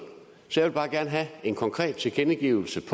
så jeg vil bare gerne have en konkret tilkendegivelse